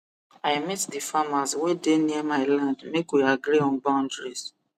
i meet the farmers wey dey near my landmake we agree on boundaries